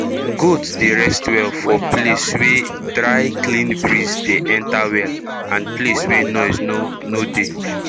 goat dey rest well for place wey dryclean breeze dey enta well and place wey noise no no dey